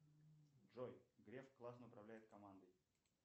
джой греф классно управляет командой